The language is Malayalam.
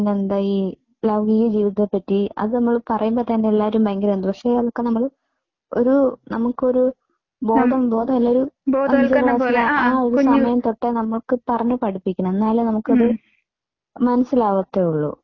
പിന്നെന്താ ഈ ലൈംഗിക ജീവിതത്തെ പറ്റി അത് നമ്മൾ പറയുമ്പോൾ തന്നെ എല്ലാരും ഭയങ്കര എന്തോ പക്ഷേ അതൊക്കെ നമ്മൾ ഒരു നമുക്കൊരു ബോധം ബോധ ആ ഒരു സമയം തൊട്ടേ നമ്മൾക്ക് പറഞ്ഞ് പഠിപ്പിക്കണം. എന്നാലേ നമുക്കത് മനസ്സിലാവത്തുളളൂ.